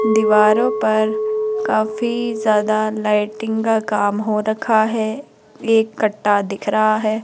दीवारों पर काफी ज्यादा लाइटिंग का काम हो रखा है एक कट्टा दिख रहा है।